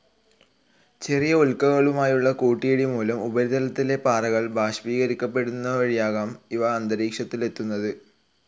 ചെറിയ ഉൽക്കകളുമായുള്ള കൂട്ടിയിടി മൂലം ഉപരിതലത്തിലെ പാറകൾ ബാഷ്പീകരിക്കപെടുന്നതുവഴിയാകാം ഇവ അന്തരീക്ഷത്തിലെത്തുന്നത്.